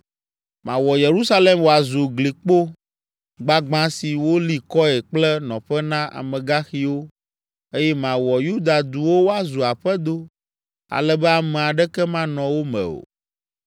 “Mawɔ Yerusalem wòazu glikpo gbagbã si woli kɔe kple nɔƒe na amegaxiwo, eye mawɔ Yuda duwo woazu aƒedo ale be ame aɖeke manɔ wo me o.”